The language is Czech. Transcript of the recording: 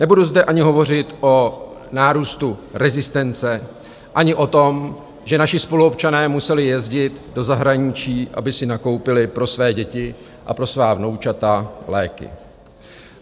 Nebudu zde ani hovořit o nárůstu rezistence ani o tom, že naši spoluobčané museli jezdit do zahraničí, aby si nakoupili pro své děti a pro svá vnoučata léky.